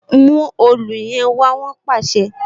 Mu òòlù yẹn wá! Wọn pàṣẹ.